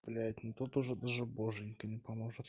блять ну тут уже даже боженька не поможет